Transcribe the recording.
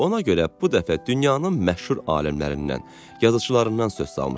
Ona görə bu dəfə dünyanın məşhur alimlərindən, yazıçılarından söz salmışdı.